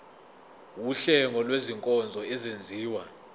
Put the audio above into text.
wuhlengo lwezinkonzo ezenziwa